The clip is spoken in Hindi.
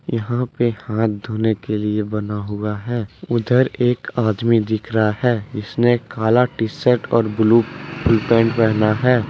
यहां पे हाथ धोने के लिए बना हुआ है। उधर एक आदमी दिख रहा है जिसने काला टी शर्ट और ब्ल्यू पैंट पहना है।